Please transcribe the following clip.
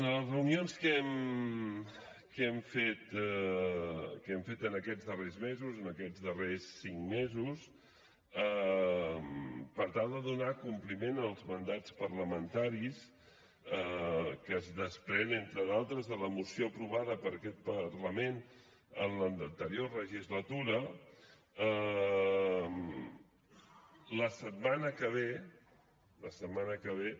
en les reunions que hem fet en aquests darrers mesos en aquests darrers cinc mesos per tal de donar compliment al mandat parlamentari que es desprèn entre d’altres de la moció aprovada per aquest parlament en l’anterior legislatura la setmana que ve